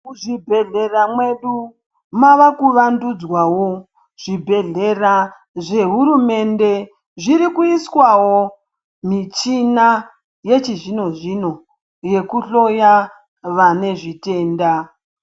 Muzvibhedhlera mwedu mavakuvandudzwawo, zvibhedhlera zvehurumende zviri kuiswawo michina yechizvino-zvino yekuhloya vane zvitenda.